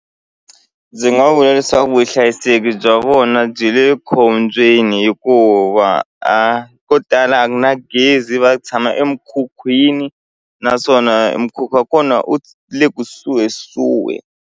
Ndzi nga vula leswaku vuhlayiseki bya vona byi le khombyeni hikuva ko tala a ku na gezi va tshama emikhukhwini naswona mukhuva wa kona u le kusuhisuhi.